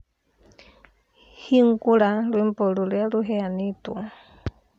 hingũra rwĩmbo rũrĩa rũheanĩtwo